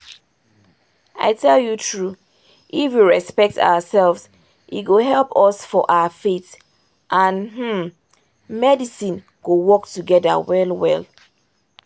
i tell you true if we respect ourselves e go help us for our faith and hmm! medicine go work together well well